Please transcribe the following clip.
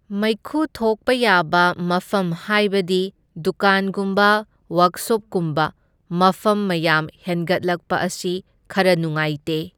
ꯃꯩꯈꯨ ꯊꯣꯛꯄ ꯌꯥꯕ ꯃꯐꯝ ꯍꯥꯏꯕꯗꯤ ꯗꯨꯀꯥꯟꯒꯨꯝꯕ ꯋꯥꯛꯁꯣꯞꯀꯨꯝꯕ ꯃꯐꯝ ꯃꯌꯥꯝ ꯍꯦꯟꯒꯠꯂꯛꯄ ꯑꯁꯤ ꯈꯔ ꯅꯨꯉꯥꯏꯇꯦ꯫